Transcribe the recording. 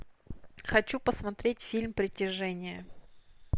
хочу посмотреть фильм притяжение